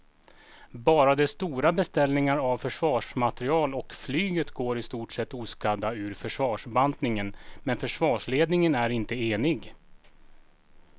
Bara de stora beställningarna av försvarsmateriel och flyget går i stort oskadda ur försvarsbantningen men försvarsledningen är inte enig.